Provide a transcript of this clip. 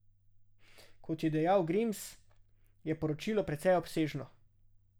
Kot je dejal Grims, je poročilo precej obsežno.